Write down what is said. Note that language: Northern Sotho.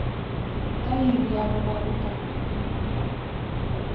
ka iri ya boraro ka